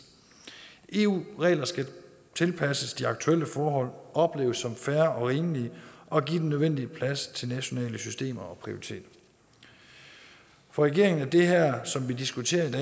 eu regler skal tilpasses de aktuelle forhold opleves som fair og rimelige og give den nødvendige plads til nationale systemer og prioriteringer for regeringen er som vi diskuterer i